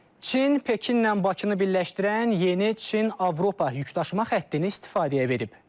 Çin Pekinlə Bakını birləşdirən yeni Çin-Avropa yükdaşıma xəttini istifadəyə verib.